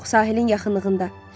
Yox, sahilin yaxınlığında.